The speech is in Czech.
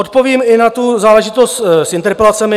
Odpovím i na tu záležitost s interpelacemi.